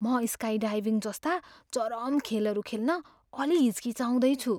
म स्काइडाइभिङ जस्ता चरम खेलहरू खेल्न अलि हिचकिचाउँछु।